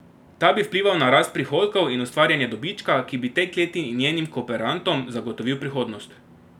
Ta bi vplival na rast prihodkov in ustvarjanje dobička, ki bi tej kleti in njenim kooperantom zagotovil prihodnost.